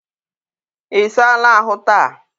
ị saala ahụ taa?